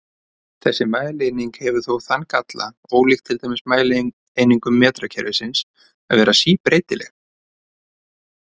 Þessi mælieining hefur þó þann galla, ólíkt til dæmis mælieiningum metrakerfisins, að vera síbreytileg.